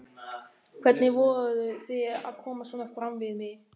Hvernig vogarðu þér að koma svona fram við mig!